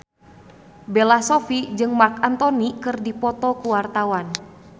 Bella Shofie jeung Marc Anthony keur dipoto ku wartawan